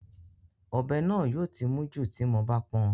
Ọ̀bẹ náà yóò ti mún jù tí mo bá pọn